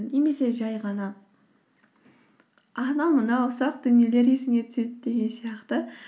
немесе жай ғана анау мынау ұсақ дүниелер есіңе түседі деген сияқты